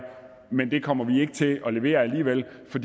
men det kommer vi ikke til at levere alligevel for